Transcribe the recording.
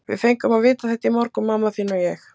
Við fengum að vita þetta í morgun, mamma þín og ég.